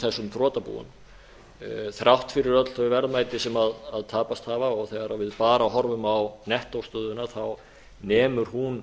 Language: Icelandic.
þessum þrotabúum þrátt fyrir öll þau verðmæti sem tapast hafa og þegar við bara horfum á nettóstöðuna nemur hún